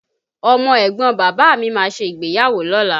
Ọmọ ẹ̀gbọ́n Bàbà mí máa ṣe ìgbéyàwó lọ́la